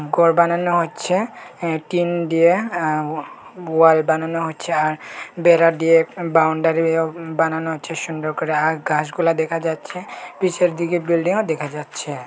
ঘর বানানো হচ্ছে অ্যা টিন দিয়ে আ ওয়াল বানানো হচ্ছে আ বেড়া দিয়ে বাউন্ডারি এও বানানো হচ্ছে সুন্দর করে আর ঘাসগুলা দেখা যাচ্ছে পিছের দিকে বিল্ডিংও দেখা যাচ্ছে।